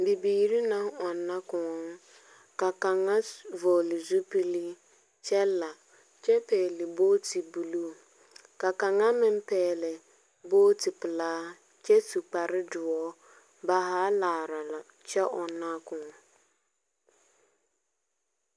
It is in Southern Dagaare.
Bibiiri naŋ ɔnna kõɔ, ka kaŋa s vɔɔle zupili kyɛ la, kyɛ pɛɛle booti buluu. Ka kaŋa meŋ pɛɛle booti pelaa kyɛ su kparre doɔ, ba haa laara la kyɛ ɔnnaa kõɔ.